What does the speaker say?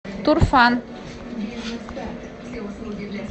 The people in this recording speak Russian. турфан